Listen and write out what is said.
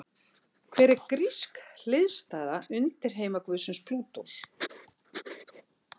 Hver er grísk hliðstæða undirheimaguðsins Plútós?